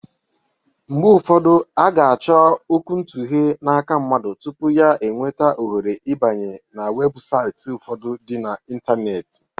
Mgbe ufọdụ, a ga-achọ okwuntughe n'aka mmadụ tupu ya enweta ohere ibanye n'webụsaiti ufọdụ dị na intaneeti.